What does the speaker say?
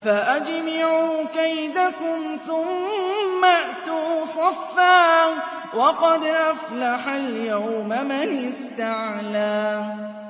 فَأَجْمِعُوا كَيْدَكُمْ ثُمَّ ائْتُوا صَفًّا ۚ وَقَدْ أَفْلَحَ الْيَوْمَ مَنِ اسْتَعْلَىٰ